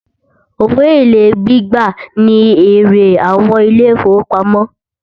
Owó èlé gbígbà ní èrè àwọn ilé ìfọwọ́pamo.